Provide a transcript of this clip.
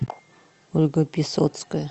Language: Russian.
ольга писоцкая